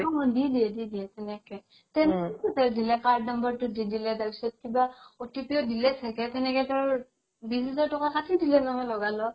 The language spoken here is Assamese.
অ অ দি দিয়ে সেনেকে card number টো দিলে তাৰ পিছত কিবা OTP ও দিলে চাগে তেনেকে তেওৰ বিশ হাজাৰ তকা কাতি দিলে নহয় লগা লগ